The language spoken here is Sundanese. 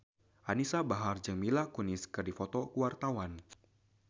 Anisa Bahar jeung Mila Kunis keur dipoto ku wartawan